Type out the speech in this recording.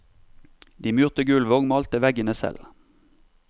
De murte gulvet og malte veggene selv.